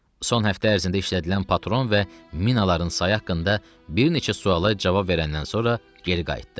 Son həftə ərzində işlədilən patron və minaların sayı haqqında bir neçə suala cavab verəndən sonra geri qayıtdı.